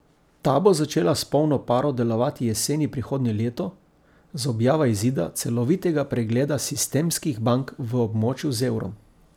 Ta bo začela s polno paro delovati jeseni prihodnje leto z objavo izida celovitega pregleda sistemskih bank v območju z evrom.